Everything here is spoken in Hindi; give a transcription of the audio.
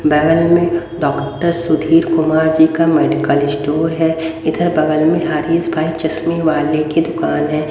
बगल में डॉक्टर सुधीर कुमार जी का मेडिकल स्टोर है इधर बगल में हरीश भाई चश्मे वाले की दुकान है।